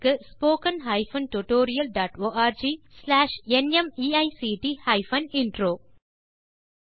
spoken hyphen tutorial dot org slash NMEICT hyphen intro மூல பாடம் Desi crew solutions